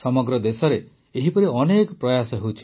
ସମଗ୍ର ଦେଶରେ ଏହିପରି ଅନେକ ପ୍ରୟାସ ହେଉଛି